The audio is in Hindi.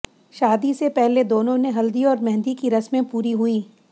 शादी से पहले दोनों ने हल्दी और मेहंदी की रस्मे पूरी हुईं